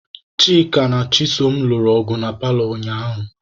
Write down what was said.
Chika na Chisom lụrụ ọgụ na paalọ ụnyaahụ.